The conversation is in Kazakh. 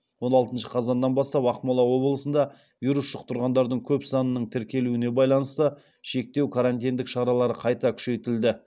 он алтыншы қазаннан бастап ақмола облысында вирус жұқтырғандардың көп санының тіркелуіне байланысты шектеу карантиндік шаралары қайта күшейтілді